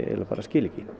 skil ekki